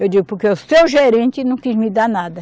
Eu digo, porque o seu gerente não quis me dar nada.